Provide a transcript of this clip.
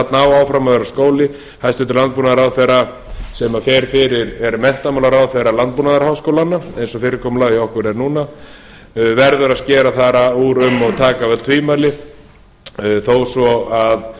á áfram að vera skóli hæstvirtur landbúnaðarráðherra sem er menntamálaráðherra landbúnaðarháskólanna eins og fyrirkomulagið er hjá okkur núna verður að skera þar úr um og taka af öll tvímæli þó svo að